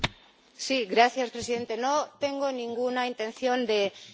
No tengo ninguna intención de ir contra el Reglamento.